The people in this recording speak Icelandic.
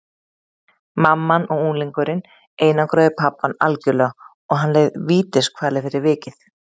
Mamman og unglingurinn einangruðu pabbann algjörlega og hann leið vítiskvalir fyrir vikið.